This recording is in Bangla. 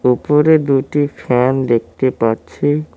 উপরে দুটি ফ্যান দেখতে পাচ্ছি।